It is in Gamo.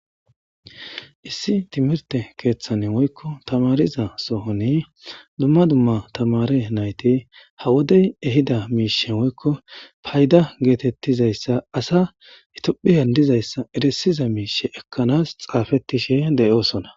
Issi timirte keethan woyko tamaariza sohon duma duma tamaare nayti ha wode ehida miisha woyko payda geetetizaysa asa tophiyan dizaysa erisiza miisha ekanas xaafisishe de'osona.